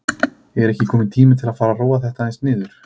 Er ekki kominn tími til að fara að róa þetta aðeins niður?